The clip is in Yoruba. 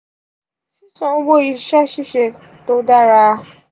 sisan owo iṣẹ ṣiṣe to dara 5.